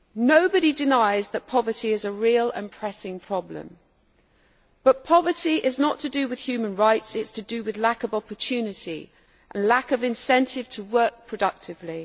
Nobody denies that poverty is a real and pressing problem, but poverty is not to do with human rights it is to do with lack of opportunity and lack of incentive to work productively.